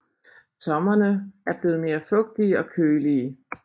Sommerene er blevet mere fugtige og kølige